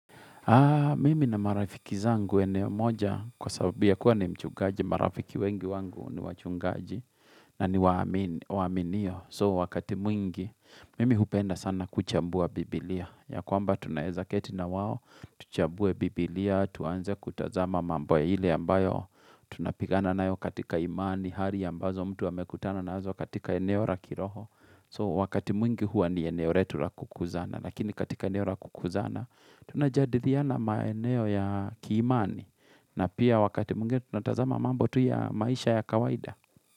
Mimi nina marafiki zangu eneo moja kwa sababu kuwa ni mchungaji, marafiki wengi wangu ni wachungaji na ni waaminio. So wakati mwingi, mimi hupenda sana kuchambua biblia. Ya kwamba tunaezaketi na wao, tuchambue biblia, tuanze kutazama mambo ile ambayo tunapigana na yo katika imani, hari ambazo mtu wamekutana na zo katika eneo ra kiroho. So wakati mwingi huwa ni eneo retu la kukuzana, lakini katika eneo la kukuzana, tunajadiliana maeneo ya kiimani, na pia wakati mwingi tunatazama mambo tu ya maisha ya kawaida.